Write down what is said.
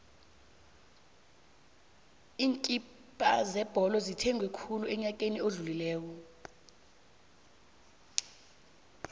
iinkipha zebholo zithengwe khulu enyakeni odlulileko